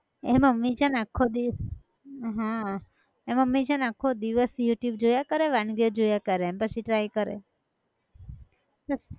એ mummy છ ન આખો દિવ હં, એ મમ્મી છે ને આખો દિવસ youtube જોયા કરે વાનગીઓ જોયા કરે પછી try કરે